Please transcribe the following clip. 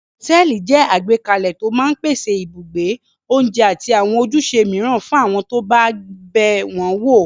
Hòtẹ́ẹ́lì jẹ́ àgbékalẹ̀ tó máa ń pèsè ibùgbé, oúnjẹ àti àwọn ojúṣe mìíràn fún àwọn tó bá bẹ̀ wọ́n wò.